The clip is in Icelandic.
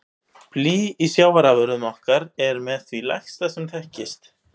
Blý í sjávarafurðum okkar er með því lægsta sem þekkist.